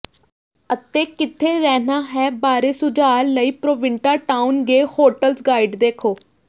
ਅਤੇ ਕਿੱਥੇ ਰਹਿਣਾ ਹੈ ਬਾਰੇ ਸੁਝਾਅ ਲਈ ਪ੍ਰੋਵਿੰਟਾਟਾਉਨ ਗੇ ਹੋਟਲਜ਼ ਗਾਈਡ ਦੇਖੋ